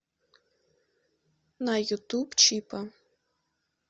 на ютуб чипа